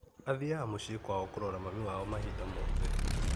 Athiaga mũciĩ kwao kũrora mami wao mahinda mothe.